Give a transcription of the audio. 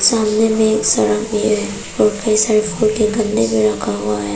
सामने में एक सड़क भी हैं प्रोफेसर लगा हुआ है।